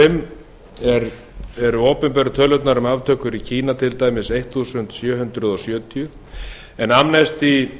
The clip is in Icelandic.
og fimm eru opinberu tölurnar um aftökur í kína til dæmis sautján hundruð sjötíu en